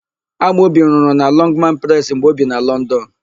Amobi rụrụ na Lọngmanụ Presị mgbe o bi na Lọndọnụ.